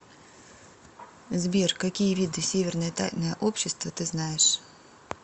сбер какие виды северное тайное общество ты знаешь